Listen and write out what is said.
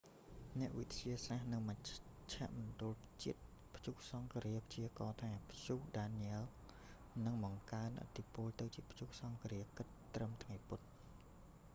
អ្នកវិទ្យាសាស្ត្រនៅមជ្ឈមណ្ឌលជាតិព្យុះសង្ឃរា ព្យាករណ៍ថា ព្យុះដានញ៉ែល danielle នឹងបង្កើនឥទ្ធពលទៅជាព្យុះសង្ឃរាគិតត្រឹមថ្ងៃពុធ